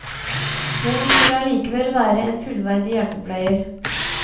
Men hun skulle allikevel være en fullverdig hjelpepleier.